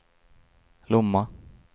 Lomma